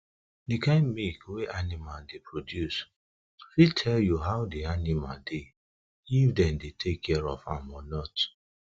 dey kind milk wey animal dey produce fit tell you how de animal dey if dem dey take care of am or not